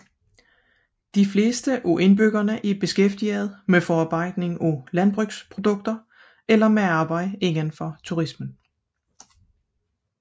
De fleste af indbyggerne er beskæftiget med forarbejdning af landbrugsprodukter eller med arbejde indenfor turismen